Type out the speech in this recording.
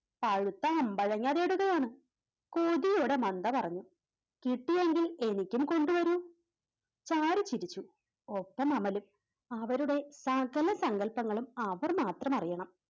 പഴുത്ത അമ്പഴങ്ങ തേടുകയാണ് കൊതിയോടെ മന്ത പറഞ്ഞു കിട്ടുമെങ്കിൽ എനിക്കും കൊണ്ടുവരൂ ചാരു ചിരിച്ചു ഒപ്പം അമലും അവരുടെ സകല സങ്കൽപ്പങ്ങളും അവർമാത്രമറിയണം